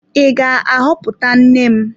Ị ga-ahọpụta nne m?